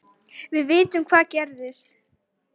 Við vitum hvað gerist